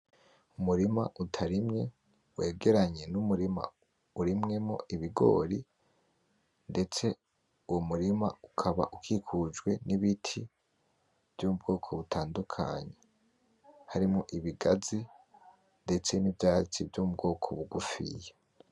Umurima utarimye wegeranye n'umurima urimwemwo ibigori, ndetse uwo murima ukaba ukikujwe n'ibiti vy'ubwoko butandukanye harimwo ibigazi ndetse n'ivyatsi vy'mubwoko bugufiya.